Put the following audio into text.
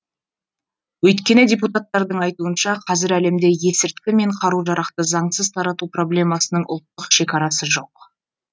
өйткені депутаттардың айтуынша қазір әлемде есірткі мен қару жарақты заңсыз тарату проблемасының ұлттық шекарасы жоқ